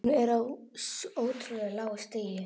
Hún er á svo ótrúlega lágu stigi.